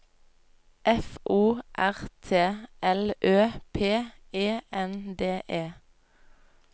F O R T L Ø P E N D E